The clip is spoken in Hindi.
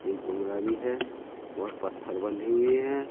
एक बोलरा भी है बहुत पत्थर बंधी हुई है।